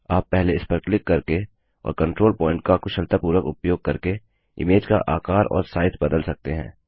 आप पहले इसपर क्लिक करके और कंट्रोल प्वॉइंट का कुशलतापूर्वक उपयोग करके इमेज का आकार और साइज बदल सकते हैं